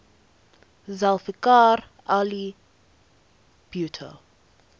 zulfikar ali bhutto